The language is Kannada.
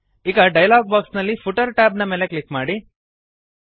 ಈಗ ಡಯಲಾಗ್ ಬಾಕ್ಸ್ ನಲ್ಲಿ ಫೂಟರ್ ಟ್ಯಾಬ್ ನ ಮೇಲೆ ಕ್ಲಿಕ್ ಮಾಡಿ